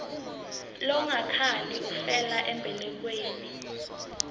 longakhali ufela embelekweni